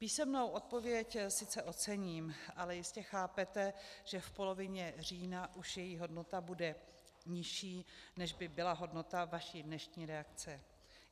Písemnou odpověď sice ocením, ale jistě chápete, že v polovině října už její hodnota bude nižší, než by byla hodnota vaší dnešní reakce.